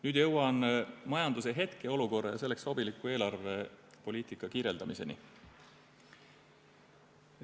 Nüüd jõuan majanduse hetkeolukorra ja selleks sobiliku eelarvepoliitika kirjeldamiseni.